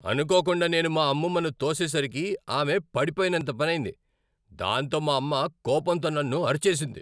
అనుకోకుండా నేను మా అమ్మమ్మను తోసేసరికి ఆమె పడిపోయినంత పనైంది, దాంతో మా అమ్మ కోపంతో నన్ను అరిచేసింది.